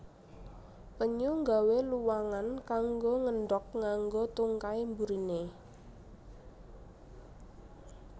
Penyu nggawé luwangan kanggo ngendhog nganggo tungkai buriné